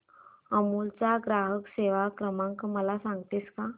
अमूल चा ग्राहक सेवा क्रमांक मला सांगतेस का